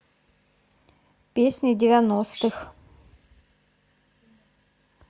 песни девяностых